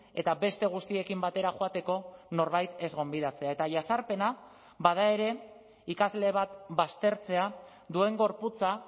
eta beste guztiekin batera joateko norbait ez gonbidatzea eta jazarpena bada ere ikasle bat baztertzea duen gorputza